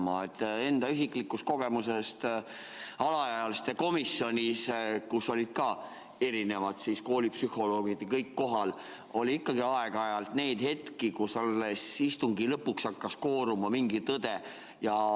Mäletan enda isiklikust kogemusest alaealiste komisjonis, kus olid ka koolipsühholoogid ja kõik teised kohal, et ikkagi oli aeg-ajalt neid hetki, kus alles istungi lõpus hakkas kooruma mingi tõde.